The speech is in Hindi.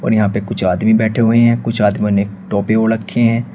और यहां पे कुछ आदमी बैठे हुए हैं कुछ आदमियों ने टोपी ओढ रखी है।